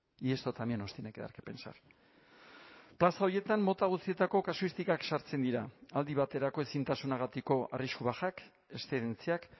y esto también nos tiene que dar qué pensar plaza horietan mota guztietako kasuistikak sartzen dira aldi baterako ezintasunagatiko arrisku bajak eszedentziak